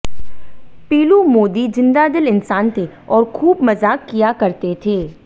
पीलू मोदी जिंदादिल इंसान थे और खूब मजाक किया करते थे